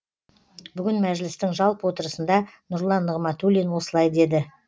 бүгін мәжілістің жалпы отырысында нұрлан нығматулин осылай деді